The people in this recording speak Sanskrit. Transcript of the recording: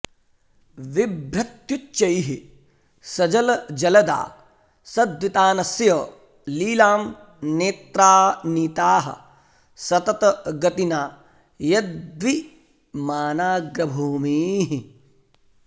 बिभ्रत्युच्चैः सजलजलदा सद्वितानस्य लीलां नेत्रा नीताः सततगतिना यद्विमानाग्रभूमीः